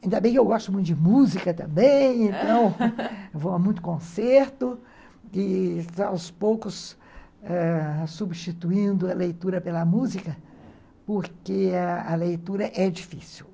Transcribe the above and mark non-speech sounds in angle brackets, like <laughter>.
Ainda bem que eu gosto muito de música também, <laughs> então eu vou a muito concerto e aos poucos substituindo a leitura pela música, porque ãh a leitura é difícil.